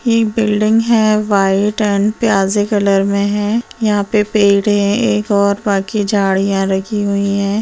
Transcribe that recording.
ये बिल्डिंग है white and पियाजी कलर में है यहाँ पे पेड़ है एक और बाकि झाड़ियाँ रखी हुई है।